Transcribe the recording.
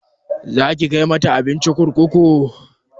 Zaki kai mata abinci kurkuku?